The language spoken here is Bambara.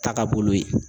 Takabolo ye